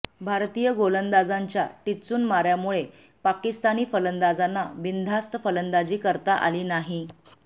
भारतीय गोलंदाजांच्या टिच्चून माऱ्यामुळे पाकिस्तानी फलंदाजांना बिनधास्त फलंदाजी करता आली नाही